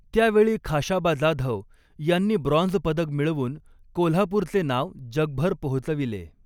त्यावेळी खाशाबा जाधव यांनी ब्रॉंझपदक मिळवून कोल्हापूरचे नाव जगभर पोहोचविले.